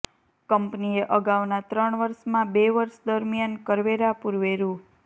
કંપનીએ અગાઉના ત્રણ વર્ષમાં બે વર્ષ દરમિયાન કરવેરા પૂર્વે રૂ